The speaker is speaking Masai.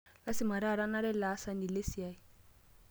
Lazima taata naaraa ele aasani lesiai.